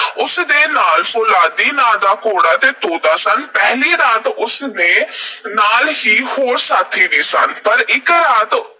ਉਸ ਦੇ ਨਾਲ ਫ਼ੌਲਾਦੀ ਨਾਂ ਦਾ ਘੋੜਾ ਤੇ ਤੋਤਾ ਸਨ। ਪਹਿਲੀ ਰਾਤ ਉਸ ਦੇ ਨਾਲ ਹੋਰ ਸਾਥੀ ਵੀ ਸਨ। ਪਰ ਇਕ ਰਾਤ